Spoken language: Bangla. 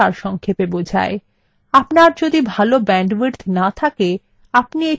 আপনার যদি ভাল bandwidth না থাকে আপনি এটি download করেও দেখতে পারেন